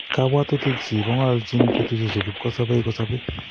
Kabwatutikchi kongolchin betusiechu kipkosobei kosobei